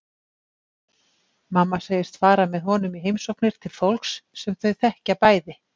Mamma segist fara með honum í heimsóknir til fólks sem þau þekkja bæði.